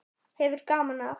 Hefur gaman af.